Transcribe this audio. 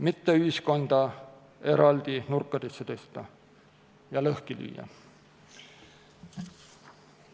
Mitte ühiskonda eraldi nurkadesse tõsta ja lõhki lüüa.